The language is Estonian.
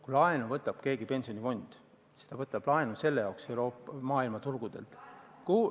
Kui laenu võtab pensionifond, siis ta võtab selle maailmaturgudelt.